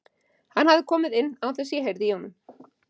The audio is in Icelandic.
Hann hafði komið inn án þess að ég heyrði í honum.